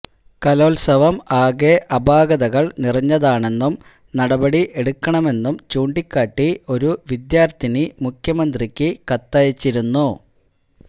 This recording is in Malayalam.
കലോത്സവം ആകെ അപാകതകൾ നിറഞ്ഞതാണെന്നും നടപടി എടുക്കണമെന്നും ചൂണ്ടിക്കാട്ടി ഒരു വിദ്യാർത്ഥിനി മുഖ്യമന്ത്രിക്കു കത്തയച്ചിരുന്നു